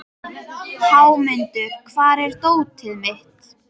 Hámundur, hvar er dótið mitt?